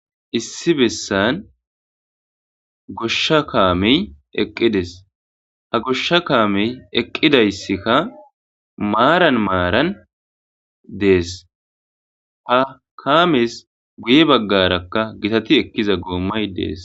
Issi besan gosha kaamey eqides, ha gosha kaamey eqidaysika maran marani Desi, ha kamesi guye bagaraka gitati ekiza goomayi Desi.